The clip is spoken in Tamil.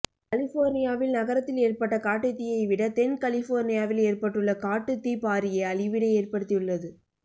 கலிபோர்னியாவில் நகரத்தில் ஏற்பட்ட காட்டுத்தீயைவிட தென் கலிபோர்னியாவில் ஏற்பட்டுள்ள காட்டுத்தீ பாரிய அழிவினை ஏற்படுத்தியுள்ளது